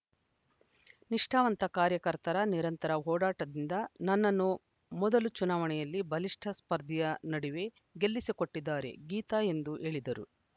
ನಿಷ್ಠಾವಂತ ಕಾರ್ಯಕರ್ತರ ನಿರಂತರ ಓಡಾಟದಿಂದ ನನ್ನನ್ನು ಮೊದಲ ಚುನಾವಣೆಯಲ್ಲಿ ಬಲಿಷ್ಠ ಸ್ಪರ್ಧಿಯ ನಡುವೆ ಗೆಲ್ಲಿಸಿಕೊಟ್ಟಿದ್ದಾರೆ ಗೀತಾ ಎಂದು ಹೇಳಿದರು